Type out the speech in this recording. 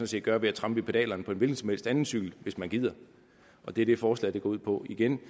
set gøre ved at trampe i pedalerne på en hvilken som helst anden cykel hvis man gider det er det forslaget går ud på igen